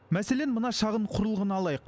мәселен мына шағын құрылғыны алайық